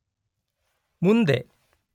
ಮುಂದೆ